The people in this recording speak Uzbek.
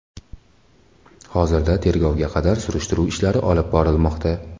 Hozirda tergovga qadar surishtiruv ishlari olib borilmoqda.